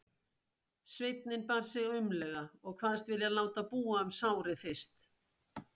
Sveinninn bar sig aumlega og kvaðst vilja láta búa um sárið fyrst.